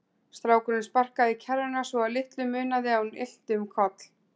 Strákurinn sparkaði í kerruna svo að litlu munaði að hún ylti um koll.